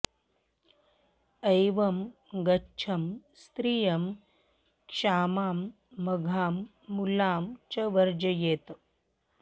एवं गच्छं स्त्रियं क्षामां मघां मूलां च वर्जयेत्